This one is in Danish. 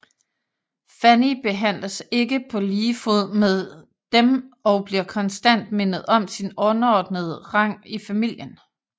Fanny behandles ikke på lige fod med dem og bliver konstant mindet om sin underordnede rang i familien